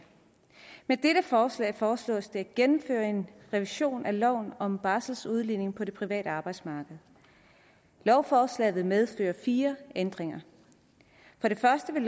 med dette forslag foreslås det at gennemføre en revision af loven om barseludligning på det private arbejdsmarked lovforslaget vil medføre fire ændringer for det første vil